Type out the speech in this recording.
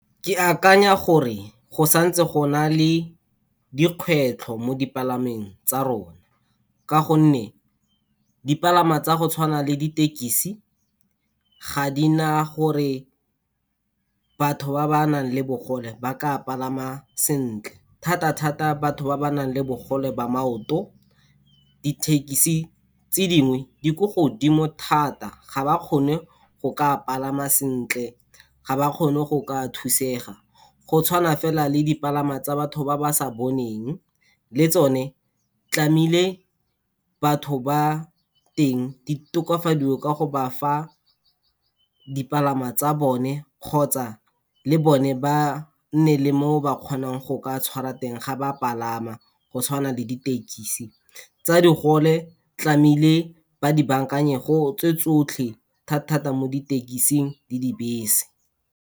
Ke akanya gore go santse go na le dikgwetlho mo dipalameng tsa rona, ka gonne dipalangwa tsa go tshwana le ditekisi ga di na gore batho ba ba nang le bogole ba ka palama sentle, thata-thata batho ba ba nang le bogole ba maoto. Dithekisi tse dingwe di ko godimo thata ga ba kgone go ka palama sentle, ga ba kgone go ka thusega. Go tshwana fela le dipalangwa tsa batho ba ba sa boneng, le tsone tlamehile batho ba teng, di tokafadiwe ka go ba fa dipalangwa tsa bone kgotsa le bone ba nne le moo ba kgonang go ka tshwara teng ga ba palama, go tshwana le ditekisi. Tsa digole tlamehile ba di baakanye , tse tsotlhe thata-thata mo ditekising le dibese.